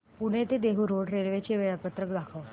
पुणे ते Dehu road railway चे वेळापत्रक दाखव